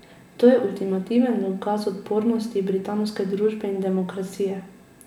To je ultimativen dokaz odpornosti britanske družbe in demokracije.